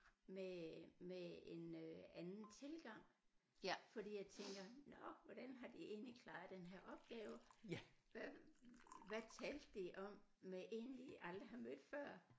Med med en øh anden tilgang fordi jeg tænker nåh hvordan har de egentlig klaret den her opgave hvad hvad talte de om med en de aldrig har mødt før